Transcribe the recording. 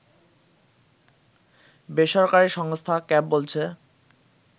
বেসরকারি সংস্থা ক্যাব বলছে